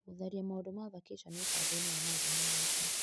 Gũtharia maũndu ma vakeshoni mũbango-inĩ wa maũndũ ma gwĩka .